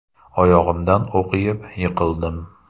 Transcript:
Oyog‘imdan o‘q yeb, yiqildim.